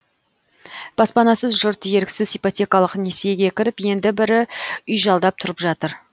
баспанасыз жұрт еріксіз ипотекалық несиеге кіріп енді бірі үй жалдап тұрып жатыр